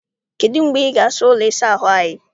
Kedụ mgbe ị ga- asa ụlọ ịsa ahụ anyị?